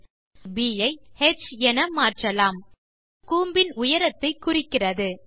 object ப் ஐ ஹ் என மாற்றலாம் இது கூம்பின் உயரத்தை குறிக்கிறது